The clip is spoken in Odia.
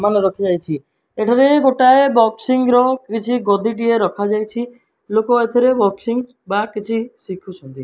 ଏଠାରେ ବକ୍ସସିଂ ର କିଛି ଗଦି ଟିଏ ରଖା ଯାଇଛି ଲୋକ ଏତିରେ ବକ୍ସସିଂ ବା ଶିଖୁଛନ୍ତି।